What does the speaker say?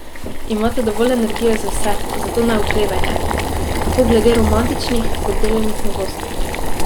Imate dovolj energije za vse, zato ne oklevajte, tako glede romantičnih kot delovnih novosti.